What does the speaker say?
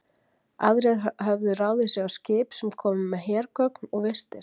Aðrir höfðu ráðið sig á skip, sem komu með hergögn og vistir.